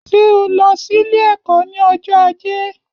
Ṣé o lọ sílé ẹkọ ni ọjọ ajé?